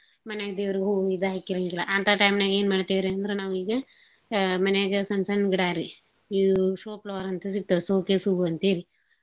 ಮನ್ಯಾಗ್ ದೇವ್ರಿಗೂ ಹೂ ಇದ್ ಹಾಕಿರಂಗಿಲ್ಲಾ. ಹಂತಾ time ನ್ಯಾಗೇನ್ ಮಾಡ್ತೇವ್ರೀ ಅಂದ್ರ ನಾವೀಗ ಅ ಮನ್ಯಾಗ ಸಣ್ ಸಣ್ ಗಿಡಾರಿ ಇವ್ show flower ಅಂತ ಸಿಗ್ತಾವ್ showcase ಹೂವ್ ಅಂತೇಳಿ.